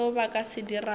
seo ba ka se dirago